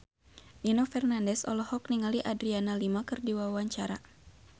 Nino Fernandez olohok ningali Adriana Lima keur diwawancara